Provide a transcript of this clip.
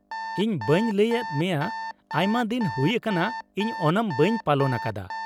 ᱤᱧ ᱵᱟᱹᱧ ᱞᱟᱹᱭ ᱟᱫ ᱢᱮᱭᱟ ᱟᱭᱢᱟ ᱫᱤᱱ ᱦᱩᱭ ᱟᱠᱟᱱᱟ ᱤᱧ ᱳᱱᱟᱢ ᱵᱟᱹᱧ ᱯᱟᱞᱚᱱ ᱟᱠᱟᱫᱟ ᱾